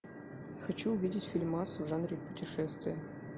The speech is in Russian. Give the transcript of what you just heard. хочу увидеть фильмас в жанре путешествия